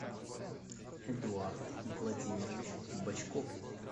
эдуард владимирович бочков